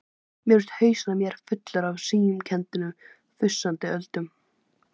Mér finnst hausinn á mér fullur af slímkenndum frussandi öldum.